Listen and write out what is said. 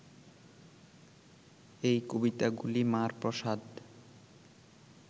এই কবিতাগুলি মার প্রসাদ